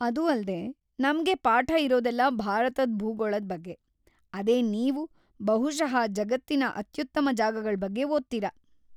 ಅದೂ ಅಲ್ದೇ, ನಮ್ಗೆ ಪಾಠ ಇರೋದೆಲ್ಲ ಭಾರತದ್ ಭೂಗೋಳದ್‌ ಬಗ್ಗೆ; ಅದೇ ನೀವ್ ಬಹುಶಃ ಜಗತ್ತಿನ ಅತ್ಯುತ್ತಮ ಜಾಗಗಳ್ ಬಗ್ಗೆ ಓದ್ತೀರ!